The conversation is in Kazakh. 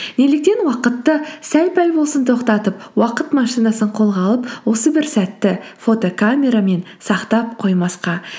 неліктен уақытты сәл пәл болсын тоқтатып уақыт машинасын қолға алып осы бір сәтті фотокамерамен сақтап қоймасқа